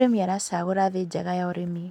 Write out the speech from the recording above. mũrĩmi aracagura thii njega ya ũrĩmi